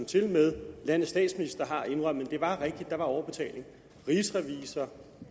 tilmed landets statsminister har indrømmet at det var rigtigt at der var en overbetaling og rigsrevisor og